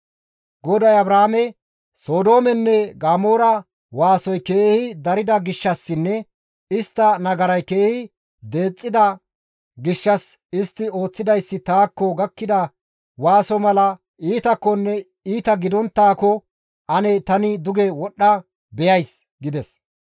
GODAY Abrahaame, «Sodoomenne Gamoora waasoy keehi darida gishshassinne istta nagaray keehi deexxida gishshas istti ooththidayssi taakko gakkida waaso mala iitakkonne iita gidonttaakko ane tani duge wodhdha beyays» gides.